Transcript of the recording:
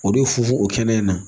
O de fufu o kɛnɛ in na